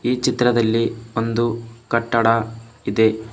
ಈ ಚಿತ್ರದಲ್ಲಿ ಒಂದು ಕಟ್ಟಡ ಇದೆ.